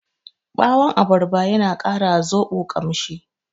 Ɓawon abarba yana ƙara wa zoɓo ƙamshi.